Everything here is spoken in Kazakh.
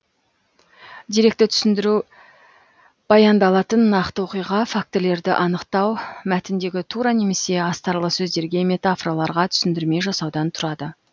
деректі түсіндіру баяндалатын нақты оқиға фактілерді анықтау мәтіндегі тура немесе астарлы сөздерге метафораларға түсіндірме жасаудан тұрады